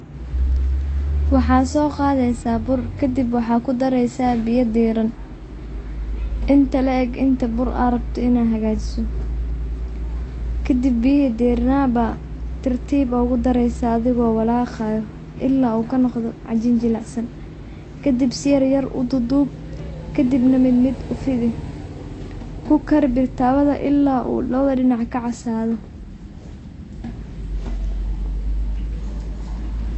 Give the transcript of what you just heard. Waxa so qadheysa bur, kadib waxa dhareysa beya dhiraan, inta laeg inta bur arabto inadh xagajiso, kadhib biyixi dhiranaa ba tirtib ogudhareysaa adhigo walaqayoo ila u kanogdho cadhin jilicsan, kadhib si yaryar u duudob kadibka mid mid ufidh, kukarii bir tawadha ila oo lawadhaa dinac kacasadho.